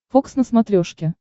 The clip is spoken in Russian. фокс на смотрешке